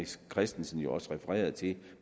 christensen jo også refereret til